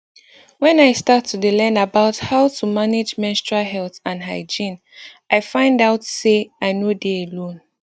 wen i start to dey learn about how to manage menstrual health and hygiene i find out say i nor dey alone